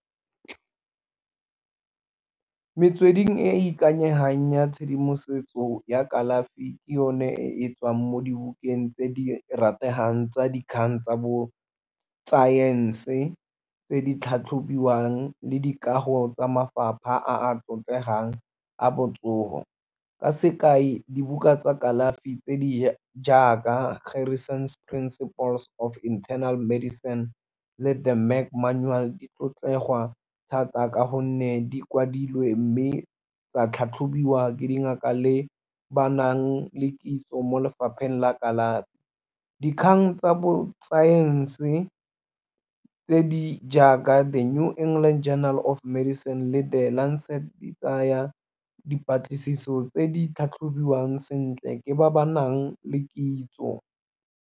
Metsweding e e ikanyegang ya tshedimosetso ya kalafi ke yone e tswang mo dibukeng tse di rategang tsa dikgang tsa bo saense tse di tlhatlhobiwang le dikago tsa mafapha a tlotlegang a botsogo. Ka sekai dibuka tsa kalafi tse di jaaka go principles of internal medicine le di tlotlegwa thata ka gonne di kwadilwe, mme tsa tlhatlhobiwa ke dingaka le ba nang le kitso mo lefapheng la kalafi. Dikgang tsa bo saense tse di jaaka The New England Journal of Medicine le di tsaya dipatlisiso tse di tlhatlhobiwa sentle ke ba ba nang le kitso.